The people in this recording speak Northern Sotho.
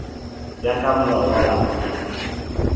ya ka molao wa palamente